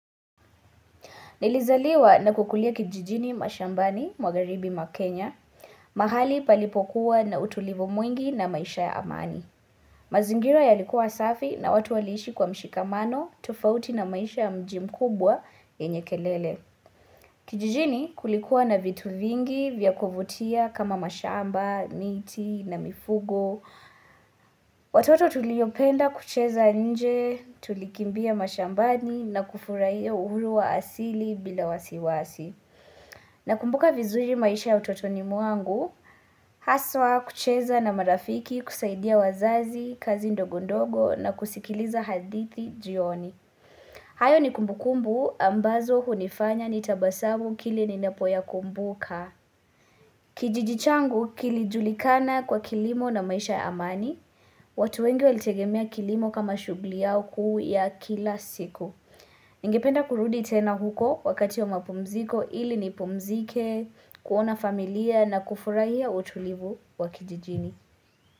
Nilizaliwa na kukulia kijijini mashambani mwagharibi ma Kenya. Mahali palipokuwa na utulivu mwingi na maisha ya amani. Mazingira ya likuwa safi na watu waliishi kwa mshikamano tofauti na maisha ya mji mkubwa yenye kelele. Kijijini kulikuwa na vitu vingi vya kuvutia kama mashamba, niti na mifugo. Watoto tuliyopenda kucheza nje tulikimbia mashambani na kufurahia uhuru wa asili bila wasiwasi. Na kumbuka vizuri maisha ya utotoni mwangu, haswa kucheza na marafiki kusaidia wazazi, kazi ndogo ndogo na kusikiliza hadithi jioni. Hayo ni kumbukumbu ambazo hunifanya ni tabasamu kilininapo ya kumbuka. Kijiji changu kilijulikana kwa kilimo na maisha ya amani, watu wengi walitegemea kilimo kama shughuli yao kuu ya kila siku. Ningependa kurudi tena huko wakati wa mapumziko ili ni pumzike, kuona familia na kufurahia utulivu wa kijijini.